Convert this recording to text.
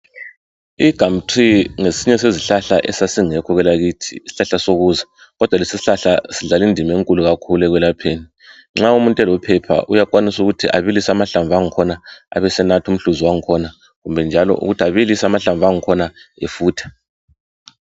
Igumtree ngesinye sezihlahla ezazingekho kwelakithi isihlahla sokuza kodwa ke lesi isihlahla sidlala Indima enkulu ekwelapheni nxa umuntu elophepha uyakwanisa ukuthi abalise amahlamvu akhona abesanatha umhluzi wakhona kumbe njalo abilise amahlamvu akhona efutha